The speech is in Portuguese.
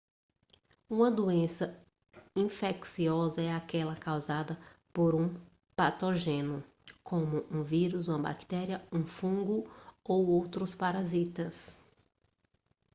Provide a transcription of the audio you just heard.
uma doença infecciosa é aquela causada por um patógeno como um vírus uma bactéria um fungo ou outros parasitas